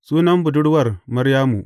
Sunan budurwar Maryamu.